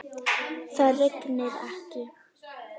Það rignir ekki.